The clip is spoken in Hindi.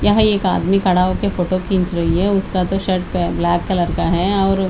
यहाँ एक आदमी खड़ा होक फोटो खींच रही है उसका तो शर्ट ब्लैक कलर का है और--